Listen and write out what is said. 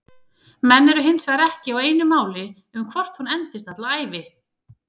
Menn eru hinsvegar ekki á einu máli um hvort hún endist alla ævi.